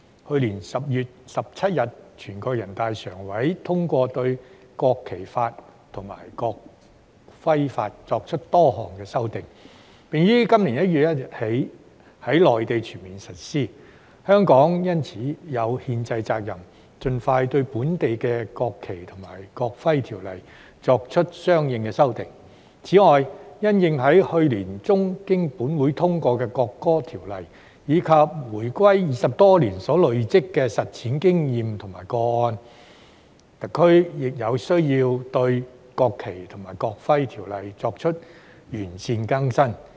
去年10月17日，全國人民代表大會常務委員會通過《國旗法》及《國徽法》修正草案以作出多項修訂，並於今年1月1日起在內地全面實施。因此，香港有憲制責任盡快就本地的《國旗及國徽條例》作出相應修訂。此外，因應去年年中本會通過《國歌條例》及回歸20多年來實施《條例》所累積的經驗和個案，香港亦有需要更新及完善《條例》。